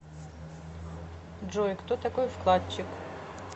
джой кто такой вкладчик